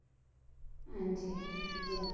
ਹਾਂਜੀ ਅੱਛਾ